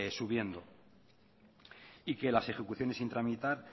subiendo y que las ejecuciones sin tramitar